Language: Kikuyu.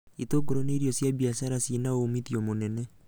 Itũngũrũ nĩ irio cia mbiacara ciĩna umuthio mũnene